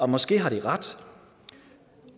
måske har de ret